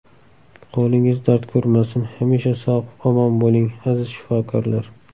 Qo‘lingiz dard ko‘rmasin, hamisha sog‘-omon bo‘ling, aziz shifokorlar!